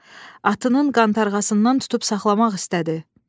Atının qantarğasından tutub saxlamaq istədi.